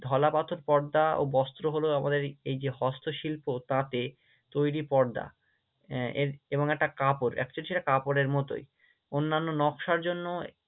ঢলা পাথর পর্দা ও বস্ত্র হলো আমাদের এই যে হস্ত শিল্প, তাঁতের তৈরী পর্দা আহ এর এবং একটা কাপড় Actually সেটা কাপড়ের মতোই, অন্যান্য নকশার জন্য